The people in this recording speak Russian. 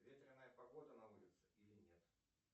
ветреная погода на улице или нет